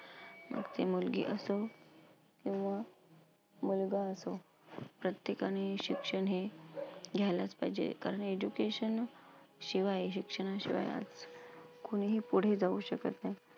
मग ती मुलगी असो किंवा मुलगा असो. प्रत्येकाने शिक्षण हे घ्यायलाच पाहिजे. कारण education शिवाय शिक्षणाशिवाय कुणीही पुढे जाऊ शकत नाही.